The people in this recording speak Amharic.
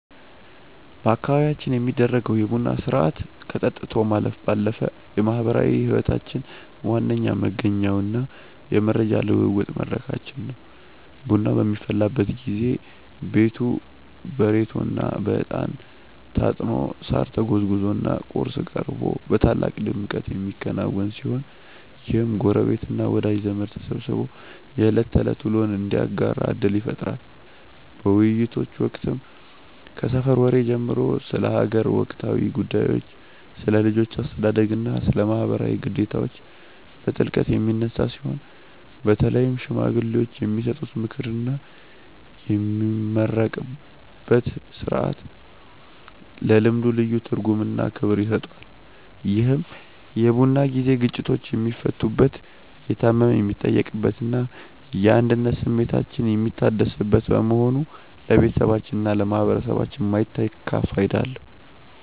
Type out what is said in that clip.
በአካባቢያችን የሚደረገው የቡና ሥርዓት ከጠጥቶ ማለፍ ባለፈ የማኅበራዊ ሕይወታችን ዋነኛ መገኛውና የመረጃ ልውውጥ መድረካችን ነው። ቡናው በሚፈላበት ጊዜ ቤቱ በሬቶና በዕጣን ታጥኖ፣ ሳር ተጎዝጉዞና ቁርስ ቀርቦ በታላቅ ድምቀት የሚከናወን ሲሆን፣ ይህም ጎረቤትና ወዳጅ ዘመድ ተሰባስቦ የዕለት ተዕለት ውሎውን እንዲያጋራ ዕድል ይፈጥራል። በውይይቶች ወቅትም ከሰፈር ወሬ ጀምሮ ስለ አገር ወቅታዊ ጉዳዮች፣ ስለ ልጆች አስተዳደግና ስለ ማኅበራዊ ግዴታዎች በጥልቀት የሚነሳ ሲሆን፣ በተለይም ሽማግሌዎች የሚሰጡት ምክርና የሚመረቅበት ሥርዓት ለልምዱ ልዩ ትርጉምና ክብር ይሰጠዋል። ይህ የቡና ጊዜ ግጭቶች የሚፈቱበት፣ የታመመ የሚጠየቅበትና የአንድነት ስሜታችን የሚታደስበት በመሆኑ ለቤተሰባችንና ለማኅበረሰባችን የማይተካ ፋይዳ አለው።